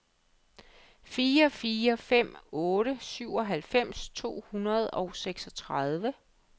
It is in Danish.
fire fire fem otte syvoghalvfems to hundrede og seksogtredive